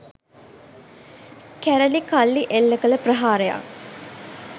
කැරලි කල්ලි එල්ල කළ ප්‍රහාරයක්